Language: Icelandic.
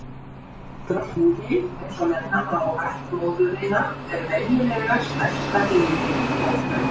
Drottningin, eins og nefna má ættmóðurina, er venjulega stærsta dýrið í hópnum.